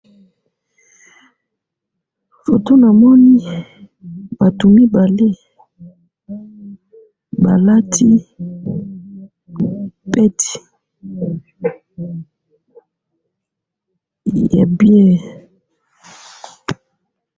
photo namoni batu mibale balati peti ya bien